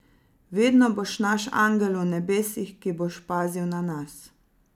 Vedno boš naš angel v nebesih, ki boš pazil na nas.